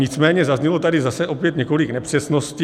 Nicméně zaznělo tady zase opět několik nepřesností.